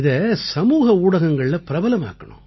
இதை சமூக ஊடகங்கள்ல பிரபலமாக்கணும்